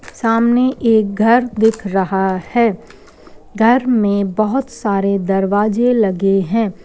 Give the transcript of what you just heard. सामने एक घर दिख रहा है। घर में बहोत सारे दरवाजे लगे हैं।